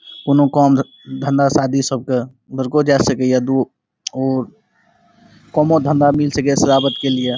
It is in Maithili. कौनो कौन धं धंधा शादी सब के जा सके है। दू और कउनो धंधा मिल सके है के लिए।